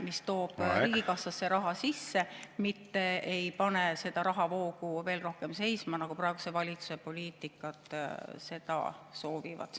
… mis toob riigikassasse raha sisse, mitte ei pane seda rahavoogu veel rohkem seisma, nagu praeguse valitsuse poliitika seda soovib.